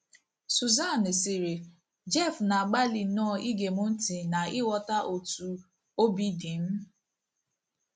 Susan sịrị: “ Jeff na - agbalị nnọọ ige m ntị na ịghọta otú obi dị m.